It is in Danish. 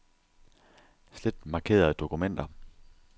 Slet markerede dokumenter.